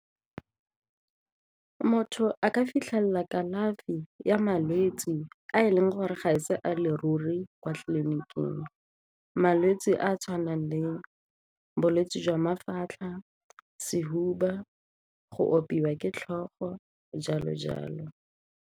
Motho a ka fitlhelela kalafi ya malwetse a e leng gore ga e se a leruri kwa tleliniking, malwetse a a tshwanang le bolwetse jwa mafatlha, sehuba, go opiwa ke tlhogo, jalo-jalo.